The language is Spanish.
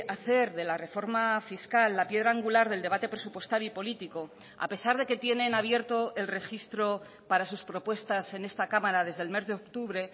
hacer de la reforma fiscal la piedra angular del debate presupuestario y político a pesar de que tienen abierto el registro para sus propuestas en esta cámara desde el mes de octubre